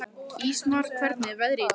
Ísmar, hvernig er veðrið í dag?